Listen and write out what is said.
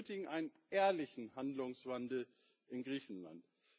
Wir benötigen einen ehrlichen Handlungswandel in Griechenland.